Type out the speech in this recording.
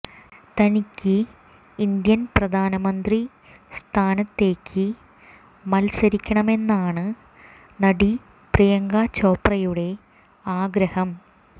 തനിയ്ക്ക് Indian പ്രധാനമന്ത്രി സ്ഥാനത്തേയ്ക്ക് മത്സരിക്കണമെന്നാണ് നടി പ്രിയങ്ക ചോപ്രയുടെ ആഗ്രഹം